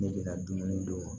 Ne bɛ na dumuni d'u ma